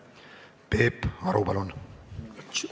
Peep Aru, palun!